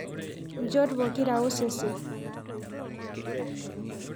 Nchot pokira osesen.